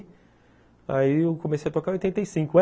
Aí eu comecei a tocar em oitenta e cinco.